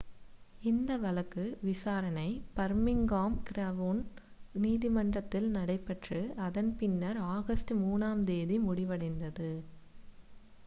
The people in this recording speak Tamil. இந்த வழக்கு விசாரணை பர்மிங்காம் கிரவுன் நீதிமன்றத்தில் நடைபெற்று அதன் பின்னர் ஆகஸ்ட் 3 ஆம் தேதி முடிவடைந்தது